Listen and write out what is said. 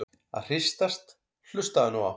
að hristast- hlustaðu nú á!